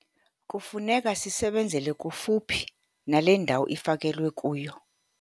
Kufuneka sisebenzele kufuphi nale ndawo ifakelwe kuyo.